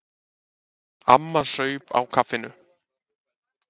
Amma saup á kaffinu.